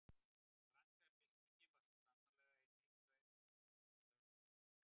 Franska byltingin er svo sannarlega einn mikilverðasti atburðurinn í sögu Vesturlanda.